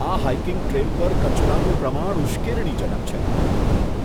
આ hiking trail પર કચરાનું પ્રમાણ ઉશ્કેરણીજનક છે.